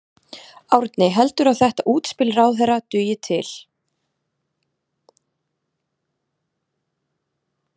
Árni, heldurðu að þetta útspil ráðherra dugi til?